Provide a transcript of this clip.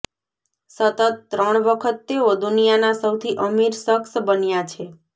સતત ત્રણ વખત તેઓ દુનિયાના સૌથી અમીર શખ્સ બન્યા છે